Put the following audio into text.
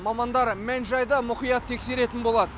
мамандар мән жайды мұқият тексеретін болады